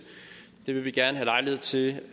det vil vi gerne have lejlighed til